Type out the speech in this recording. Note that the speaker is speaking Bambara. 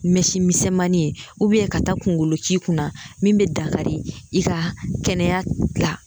Mɛsi misɛnmanin ubiyɛn ka taa kungolo k'i kunna min be dankari i ka kɛnɛya la